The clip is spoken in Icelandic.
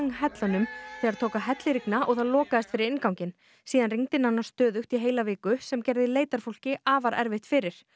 hellunum þegar tók að hellirigna og það lokaðist fyrir innganginn síðan rigndi nánast stöðugt í heila viku sem gerði afar erfitt fyrir